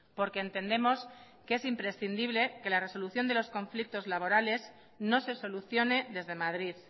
porque entendemos que es imprescindible que la resolución de los conflictos laborales no se solucione desde madrid